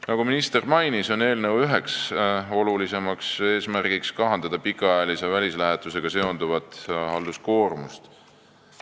Nagu minister mainis, on eelnõu üks olulisem eesmärk kahandada pikaajalise välislähetusega seonduvat halduskoormust.